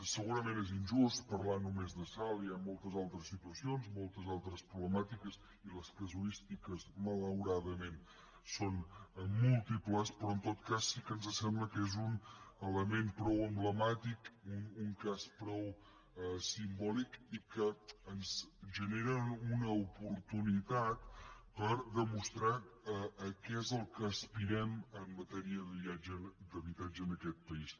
segurament és injust parlar només de salt hi ha moltes altres situacions moltes altres problemàtiques i les casuístiques malauradament són múltiples però en tot cas sí que ens sembla que és un element prou emblemàtic un cas prou simbòlic i que ens genera una oportunitat per demostrar a què és el que aspirem en matèria d’habitatge en aquest país